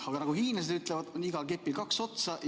Aga nagu hiinlased ütlevad, on igal kepil kaks otsa.